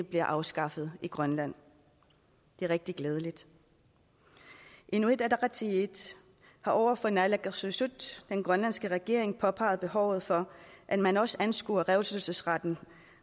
bliver afskaffet i grønland det er rigtig glædeligt inuit ataqatigiit har over for naalakkersuisut den grønlandske regering påpeget behovet for at man også anskuer revselsesrettten